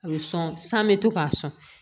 A bɛ sɔn san bɛ to k'a sɔn